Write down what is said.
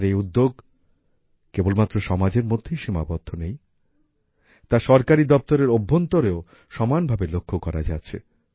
আর এই উদ্যোগ কেবলমাত্র সমাজের মধ্যেই সীমাবদ্ধ নেই তা সরকারি দপ্তরের অভ্যন্তরেও সমানভাবে লক্ষ্য করা যাচ্ছে